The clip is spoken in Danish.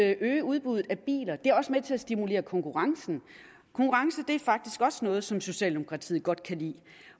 at øge udbuddet af biler og det er også med til at stimulere konkurrencen konkurrence er faktisk også noget som socialdemokratiet godt kan lide